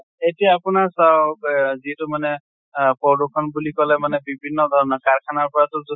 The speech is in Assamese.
এতিয়া আপোনাৰ চাওঁক ৱে যিটো মানে আহ পৰদূষণ বিলু কলে মানে বিভিন্ন ধৰণৰ কাৰখানা পৰা টো যু